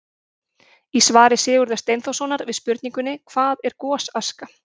Í svari Sigurðar Steinþórssonar við spurningunni: Hvað er gosaska?